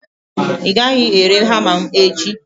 ị gaghị ere hama m echi!